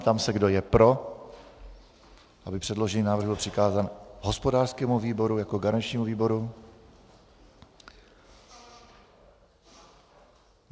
Ptám se, kdo je pro, aby předložený návrh byl přikázán hospodářskému výboru jako garančnímu výboru.